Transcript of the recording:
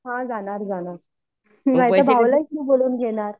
हां जाणार जाणार भावालाच इथे बोलवून घेणार